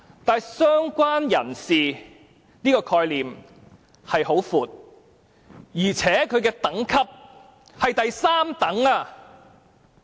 但是，"相關人士"的概念甚為廣闊，而且其等級屬第三等。